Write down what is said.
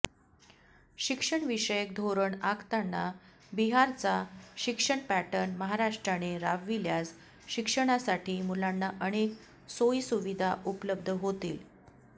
शिक्षणविषयक धोरण आखताना बिहारचा शिक्षण पॅटर्न महाराष्ट्राने राबविल्यास शिक्षणासाठी मुलांना अनेक सोयीसुविधा उपलब्ध होतील